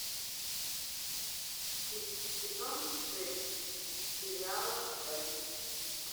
сезон шесть сериала энн